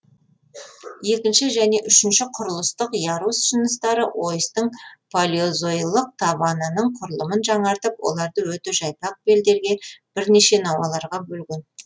екінші және үшінші құрылыстық ярус жыныстары ойыстың палеозойлық табанының құрылымын жаңартып оларды өте жайпақ белдерге бірнеше науаларға бөлген